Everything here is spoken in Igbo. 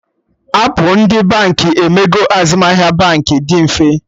Appụ ndị Baankị emego azụmahịa Baankị dị mfe